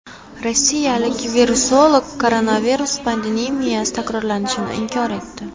Rossiyalik virusolog koronavirus pandemiyasi takrorlanishini inkor etdi.